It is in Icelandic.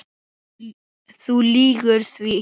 Þú lýgur því.